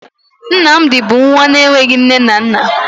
Nnamdi bụ nwa enweghi nne na nna